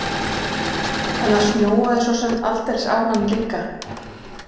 En það snjóaði svo sem aldeilis á hann líka.